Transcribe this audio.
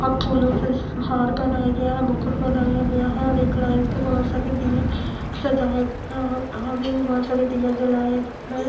अ फूलों से हार पहनाया गया है मुकुट बनाया गया है और एक लाइन पे बहोत सारे दिए सजाए गए है और आगे भी बहुत सारे दिया जलाया गया है।